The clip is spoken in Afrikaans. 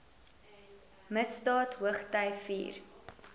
misdaad hoogty vier